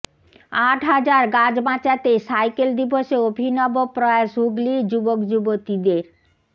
আট হাজার গাছ বাঁচাতে সাইকেল দিবসে অভিনব প্রয়াস হুগলির যুবকযুবতীদের